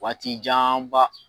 Waati janba